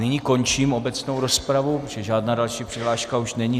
Nyní končím obecnou rozpravu, protože žádná další přihláška už není.